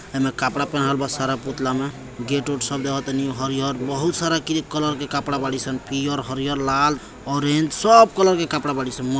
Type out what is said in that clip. येमे कपड़ा पहनन ब सारा पुतला मे गेट-उट सब देखत हरिहर बहुत सारा कलर के कपड़ा बडी सन पीयर हारिहर लाल ऑरेंज सब कलर के कपड़ा बडी सनि--